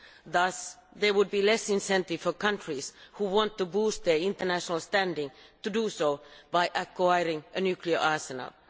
Thus, there would be less incentive for countries who want to boost their international standing to do so by acquiring a nuclear arsenal.